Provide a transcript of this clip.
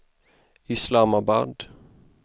Islamabad